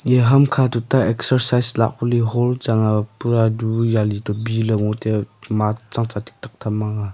eya hamkha tuta excercise lah pari hall chang a pura du jali topi ngotaiya ma chang cha thik thak tham mang a.